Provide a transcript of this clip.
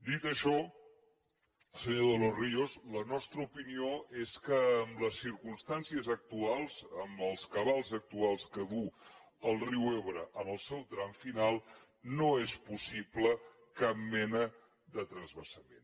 dit això senyor de los ríos la nostra opinió és que en les circumstàncies actuals amb els cabals actuals que duu el riu ebre en el seu tram final no és possible cap mena de transvasament